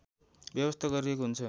व्यवस्था गरिएको हुन्छ